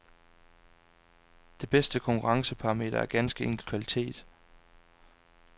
Det bedste konkurrenceparameter er ganske enkelt kvalitet.